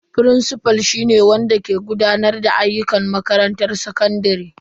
Firincifal shi ne wanda ke gudanar da ayyukan makarantar sakandare.